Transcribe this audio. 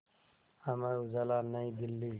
Amar Ujala New Delhi